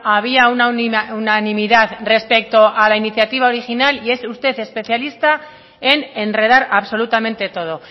había unanimidad respecto a la iniciativa original y es usted especialista en enredar absolutamente todo